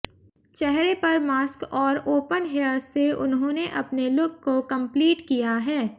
चेहरे पर मास्क और ओपन हेयर्स से उन्होंने अपने लुक को कमप्लीट किया है